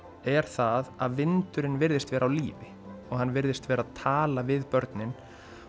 er að vindurinn virðist vera á lífi og hann virðist vera að tala við börnin